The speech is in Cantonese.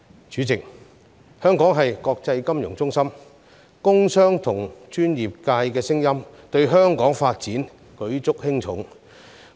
主席，香港是國際金融中心，工商和專業界的聲音對香港發展舉足輕重。